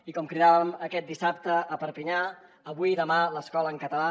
i com cridàvem aquest dissabte a perpinyà avui i demà l’escola en català